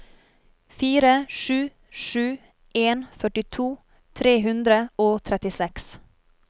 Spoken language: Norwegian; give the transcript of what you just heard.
fire sju sju en førtito tre hundre og trettiseks